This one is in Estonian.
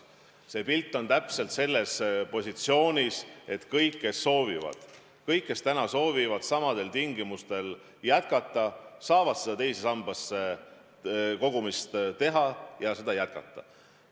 See pilt on täpselt selline, et kõik, kes soovivad – kõik, kes täna soovivad samadel tingimustel jätkata –, saavad sinna teise sambasse kogumist jätkata.